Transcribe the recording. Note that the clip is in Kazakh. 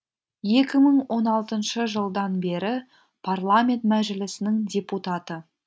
екі мың он алтыншы жылдан бері парламент мәжілісінің депутаты